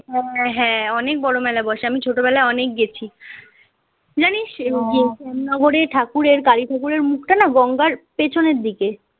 হ্যাঁ, হ্যাঁ, অনেক বড় মেলা বসে আমি ছোটবেলায় অনেক গেছি জানিস কোন্ননগর ঠাকুরের কালী ঠাকুরের মুখ টা না গঙ্গার পেছনের দিকে